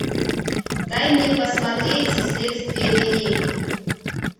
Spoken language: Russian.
дай мне посмотреть следствие вели